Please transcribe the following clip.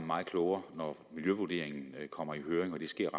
meget klogere når miljøvurderingen kommer i høring og det sker